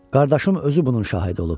Qardaşım özü bunun şahidi olub.